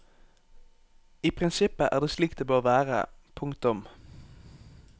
I prinsippet er det slik det bør være. punktum